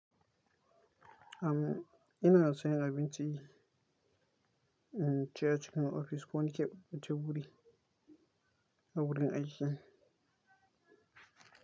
Am, ina son abinci, in ci a cikin ofis ko ni ke baje wuri a wurin aiki.